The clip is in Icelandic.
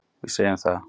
Við segjum það.